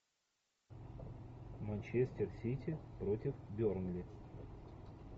манчестер сити против бернли